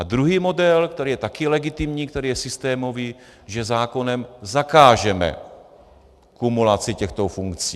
A druhý model, který je také legitimní, který je systémový, že zákonem zakážeme kumulaci těchto funkcí.